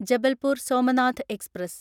Jabalpur Somnath express